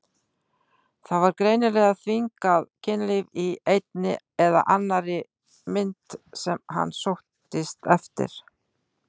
Það var greinilega þvingað kynlíf í einni eða annarri mynd sem hann sóttist eftir.